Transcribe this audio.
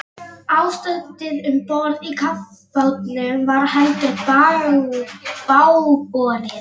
Ástandið um borð í kafbátnum var heldur bágborið.